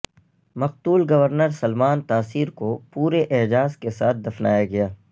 مقتول گورنر سلمان تاثیر کو پورے اعزاز کے ساتھ دفنایا گیا